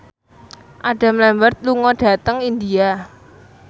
Adam Lambert lunga dhateng India